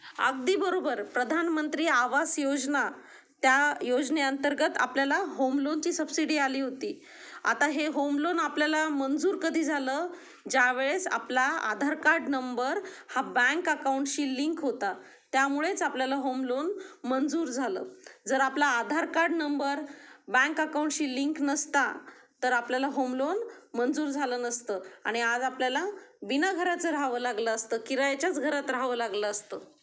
अगदी बरोबर प्रधानमंत्री आवास योजना. त्या योजने अंतर्गत आपल्याला होमलोन ची सबसिडी आली होती आता हे होम लोन आपल्याला मंजूर कधी झालं ज्या वेळेस आपला आधार कार्ड नंबर हा बँक अकाउंट शी लिंक होता. त्या मुळेच आपल्याला होम लोन मंजूर झालं जर आपला Aadhaar card number bank account शी लिंक नसता तर आपल्याला होम लोन मंजूर झालं नसतं आणि आज आपल्याला बिना घराचं राहावं लागलं असतं किरायचाच घरात राहवं लागलं असतं.